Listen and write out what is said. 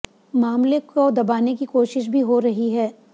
मामले की दबाने की कोशिश भी हो रही है